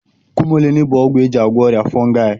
Kumulini bụ ọgwụ eji agwọ ọrịa fongai